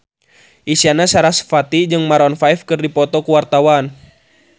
Isyana Sarasvati jeung Maroon 5 keur dipoto ku wartawan